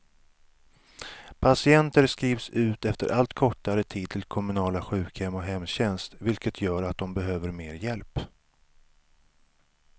Patienter skrivs ut efter allt kortare tid till kommunala sjukhem och hemtjänst, vilket gör att de behöver mer hjälp.